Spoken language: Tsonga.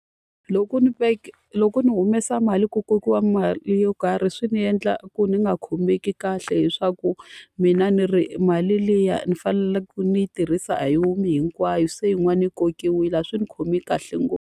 Loko ni loko ni humesa mali ku kokiwa mali yo karhi swi ni endla ku ni nga khomeki kahle leswaku mina ni ri mali liya ni faneleke ni yi tirhisa a yi khomi hinkwayo, se yin'wana yi kokiwile. A swi ni khomi kahle .